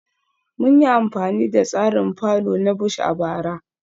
Mun yi amfani da tsarin fallow na Bush a bara